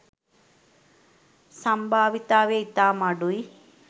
සම්භාවිතාවය ඉතාම අඩුයි.